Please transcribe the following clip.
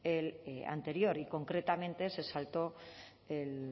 el anterior y concretamente se saltó el